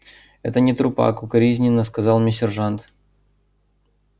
это не трупак укоризненно сказал мне сержант